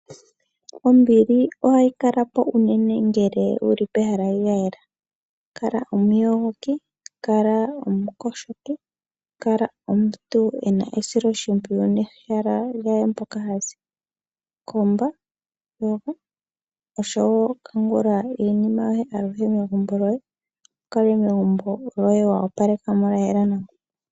Ombili ohayi kalapo unene ngele wuli pehala lyayela. Kala omuyogoki, kala omuntu ena esiloshimpwiyu nehala lyaye mpoka hazi. Komba, yoga, noshowo kangula iinima yoye aluhe megumbo lyoye, wukale megumbo lyoye wa opalekamo, lyayela nawa.